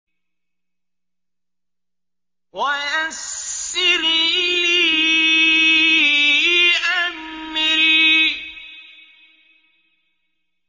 وَيَسِّرْ لِي أَمْرِي